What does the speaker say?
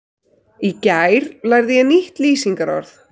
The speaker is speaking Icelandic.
Í gær lærði ég nýtt lýsingarorð.